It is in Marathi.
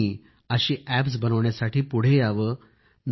आपणही असे अॅप बनविण्यासाठी पुढे यावे